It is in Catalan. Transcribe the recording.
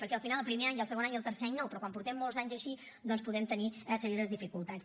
perquè al final el primer any i el segon any i el tercer any no però quan portem molts anys així doncs podem tenir serioses dificultats